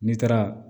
N'i taara